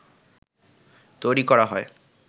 তৈরি করা হয়